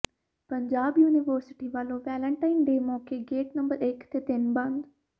Punjab university ਵੱਲੋਂ Valentine day ਮੌਕੇ gate number ਇਕ ਤੇ ਤਿੰਨ ਬੰਦ